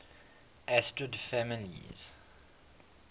asterid families